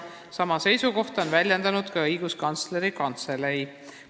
Sama seisukohta on väljendanud ka Õiguskantsleri Kantselei.